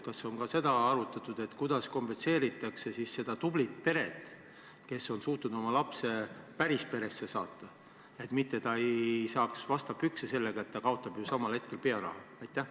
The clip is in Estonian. Kas on ka seda arutatud, kuidas kompenseeritakse see sellele tublile perele, kes on suutnud oma lapse päris peresse saata, et ta ei saaks vastu pükse sellega, et ta kaotab ju pearaha?